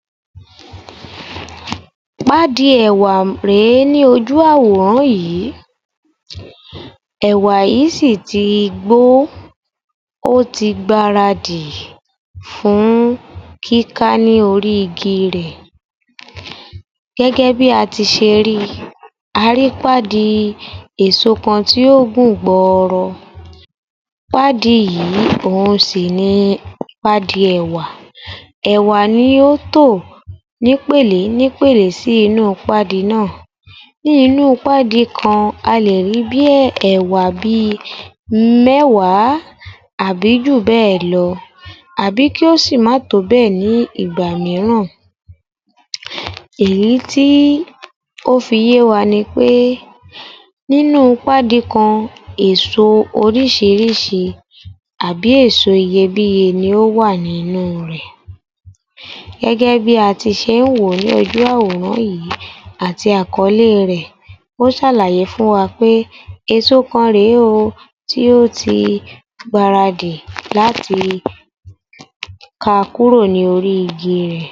26_(Audio_yoruba_yor_f_518_AG00025 Pádi èwà rè é ní ójú àwòrán yì í, èwà yì í sì ì ti i gbó ó, ó ti gbaradì fún kíká ní orí igi rẹ̀. Gẹ́gẹ́ bí a ti se rí i, a rí í pádi èso kan tó gùn gbọọrọ. Pádi yì í òun sì ì ni pádi èwà. Ẹ̀wà ni ó tò ní'pèlé ní'pèlé sí inú pádi ná à. Ní inú u pádi kan a lè ní bí í ẹ̀wà bí i méwàá àbí jù bẹ́ ẹ̀ lọ àbí kí ó sì ì má tò bẹ́ ẹ̀ ní ìgbà míràn. Èyí tí ó fi yéwa ni pé nínú pádi kan, èso orísìírísìí àbí èso iyebíye ni ó wà ní inú rẹ̀. Gẹ́gẹ́ bí a ti se ń wò ó ní ójú àwòrán yì í, àti àkọlé e rẹ̀, ó sàlàye fún wa pé èso kan rè é o tí ó ti gbaradì láti ká a kúrò ní orí igi rẹ̀.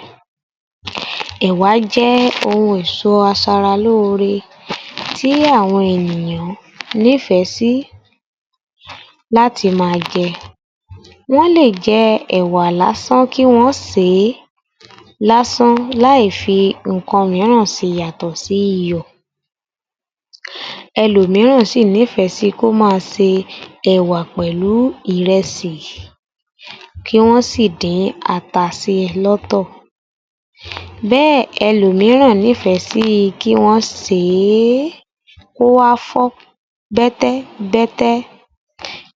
Ẹ̀wà jẹ́ ohun èso aṣaralóore tÍ àwọn ènìyàn nífẹ̀ sí láti ma a je. Wọ́n lè jẹ ẹ̀wà lásán kí wọ́n ọ́n sè e láì fi ǹǹkan míràn sí i yàtò sí iyọ̀. Ẹlòmíràn sì ì nífẹ̀ ẹ́ sí i kó má a se ẹ̀wà pẹ̀lú ìrẹsì kí wọ́n sì dín ata sí i lọ́tọ̀. Bẹ́ ẹ̀ ẹlòmíràn nífẹ̀ ẹ́ sí i kí wọ́n sè è é kó wá fọ́ bẹ́tẹ́bẹ́tẹ́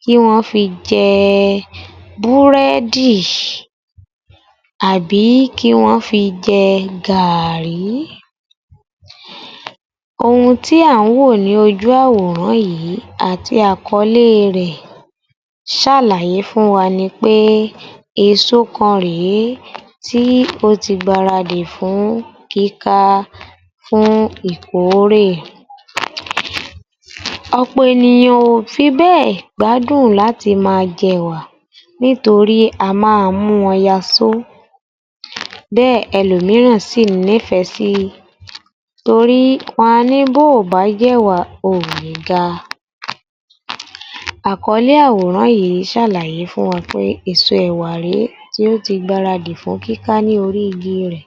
kí wọ́n fi jẹ ẹ búrẹ́dìì àbí kí wọ́n fi jẹ ẹ gaàrí. Ohun tí à ń wò ó ní ójú àwòrán yì í, àti àkọlé e rẹ̀, sàlàye fún wa ni pé èso kan rè é tí ó ti gbaradì fún kíká á, fún ìkórè. Ọ̀pọ̀ èníyàn ò fibé è gbádùn láti má a jẹ ẹ̀wà nítorí a má a mú wọn yasó. Bẹ́ ẹ̀ ẹlòmíràn sì nífẹ̀ ẹ́ sí i, torí wọn a ní bó ò bá j'ẹ̀wà o ò lè ga a. Àkọlé àwòrán yì í, sàlàye fún wa pé èso ẹ̀wà rè é tí ó ti gbaradì fún kíka ní orí igi rẹ̀.